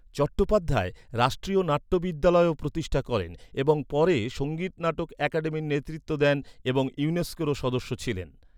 চট্টোপাধ্যায় রাষ্ট্রীয় নাট্য বিদ্যালয়ও প্রতিষ্ঠা করেন এবং পরে সঙ্গীত নাটক আকাদেমির নেতৃত্ব দেন, এবং ইউনেস্কোরও সদস্য ছিলেন।